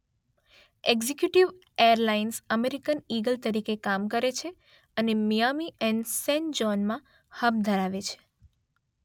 Executive airlines American Eagle તરીકે કામ કરે છે અને મિયામી અને સાન જૌનમાં હબ ધરાવે છે.